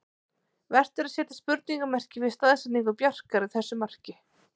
Vert er að setja spurningarmerki við staðsetningu Bjarkar í þessu marki.